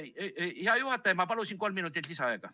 Hea juhataja, ma palun kolm minutit lisaaega.